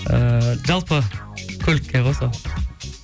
ыыы жалпы көлікке ғой сол